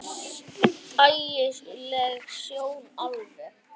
Ægi leg sjón alveg.